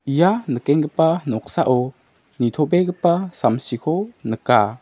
ia nikenggipa noksao nitobegipa samsiko nika.